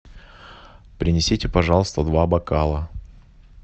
принесите пожалуйста два бокала